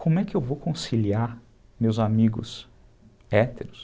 Como é que eu vou conciliar meus amigos héteros?